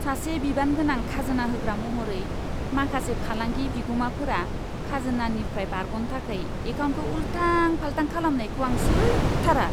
सासे बिबानगोनां खाजोना होग्रा महरै, माखासे फालांगि बिगुमाफोरा खाजोनानिफ्राय बारग'नो थाखाय एकाउन्टखौ उल्थां फाल्थां खालामनायखौ आं सैथारा।